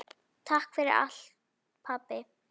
Takk fyrir allt pabbi.